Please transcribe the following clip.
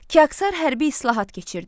Kiaksar hərbi islahat keçirdi.